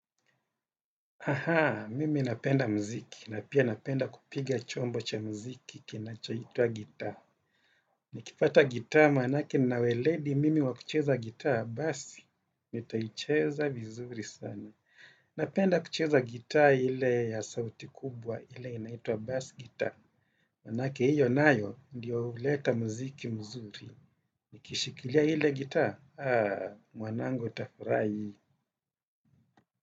Aha, mimi napenda mziki na pia napenda kupiga chombo cha mziki kinachoitwa gitaa. Nikipata gitaa manake nina weledi mimi wa kucheza gitaa basi, nitaicheza vizuri sana. Napenda kucheza gitaa ile ya sauti kubwa ile inaitwa bass gitaa. Manake hiyo nayo ndio huleta mziki mzuri. Nikishikilia ile gitaa, aa, mwanangu utafurahi.